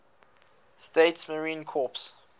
states marine corps